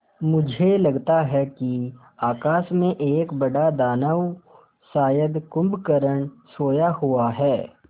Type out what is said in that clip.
मुझे लगता है कि आकाश में एक बड़ा दानव शायद कुंभकर्ण सोया हुआ है